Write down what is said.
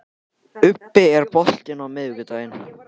Ubbi, er bolti á miðvikudaginn?